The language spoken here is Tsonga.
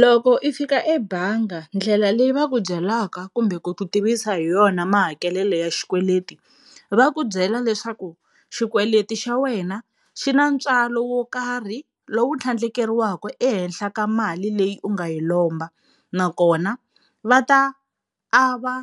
Loko i fika ebangi ndlela leyi va ku byelaka kumbe ku ku tivisa hi yona mahakelelo ya xikweleti va ku byela leswaku xikweleti xa wena xi na ntswalo wo karhi lowu tlhandlekeriwaka ehenhla ka mali leyi u nga yi lomba, nakona va ta ava